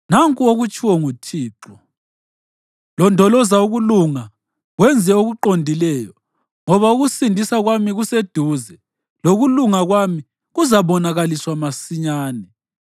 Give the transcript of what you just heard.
Nanku okutshiwo nguThixo: “Londoloza ukulunga wenze okuqondileyo, ngoba ukusindisa kwami kuseduze lokulunga kwami kuzabonakaliswa masinyane.